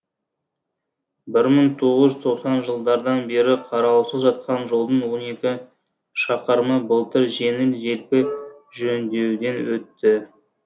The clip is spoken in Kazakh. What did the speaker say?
бір мың тоғыз жүз тоқсан жылдардан бері қараусыз жатқан жолдың он екі шақырымы былтыр жеңіл желпі жөндеуден өтті